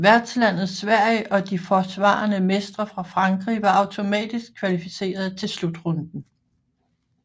Værtslandet Sverige og de forsvarende mestre fra Frankrig var automatisk kvalificeret til slutrunden